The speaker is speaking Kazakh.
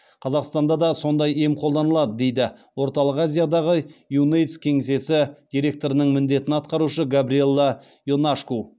қазақстанда да сондай ем қолданылады дейді орталық азиядағы юнэйдс кеңсесі директорының міндетін атқарушы габриелла ионашку